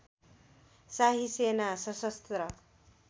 शाही सेना सशस्त्र